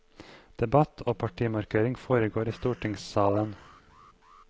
Debatt og partimarkering foregår i stortingssalen.